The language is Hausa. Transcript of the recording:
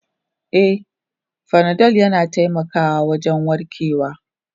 E, fanadol yana taimakawa wajen warkarwa.